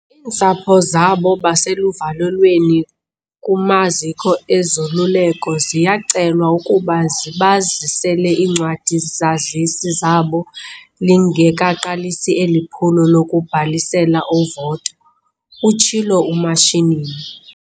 "Iintsapho zabo baseluvalelweni kumaziko ezoluleko ziyacelwa ukuba zibazisele iincwadi-zazisi zabo lingekaqalisi eli phulo lokubhalisela uvoto," utshilo uMashinini.